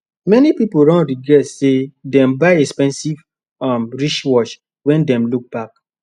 many people don regret say dem buy expensive um wristwatch when dem look back